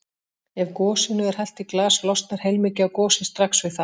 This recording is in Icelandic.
Ef gosinu er hellt í glas losnar heilmikið af gosi strax við það.